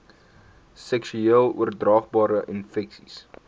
seksueel oordraagbare infeksies